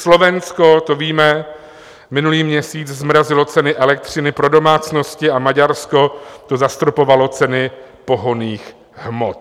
Slovensko, to víme, minulý měsíc zmrazilo ceny elektřiny pro domácnosti a Maďarsko, to zastropovalo ceny pohonných hmot.